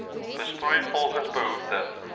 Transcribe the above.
besproei volgens behoefte